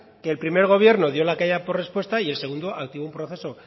que el primer gobierno dio la callada por respuesta y el segundo activó un proceso